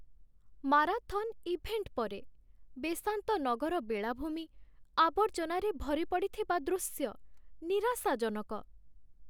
Marathon event ପରେ, ବେସାନ୍ତ ନଗର ବେଳାଭୂମି ଆବର୍ଜନାରେ ଭରିପଡ଼ିଥିବା ଦୃଶ୍ୟ ନିରାଶାଜନକ।